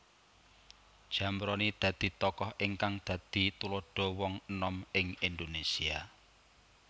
Zamroni dadi tokoh ingkang dadi tuladha wong enom ing Indonesia